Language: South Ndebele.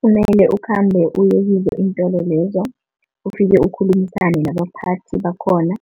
Kumele ukhambe uyekizo iintololezo. Ufike ukhulumisana nabaphathi bakhona,